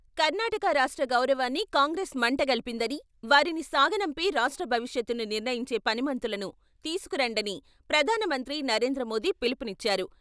కర్ణాటక రాష్ట్ర గౌరవాన్ని కాంగ్రెస్ మంటగలిపిందని, వారిని సాగనంపి రాష్ట్ర భవిష్యత్తును నిర్ణయించే పనిమంతులను తీసుకురండని ప్రధాన మంత్రి నరేంద్ర మోది పిలుపు నిచ్చారు.